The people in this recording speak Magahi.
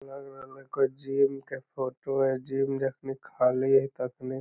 इ ते लग रहले कोय जिम के फोटो हेय जिम जखनी खाली है तखनी --